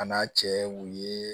A n'a cɛ wo ye